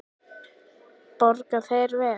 Borga þeir vel?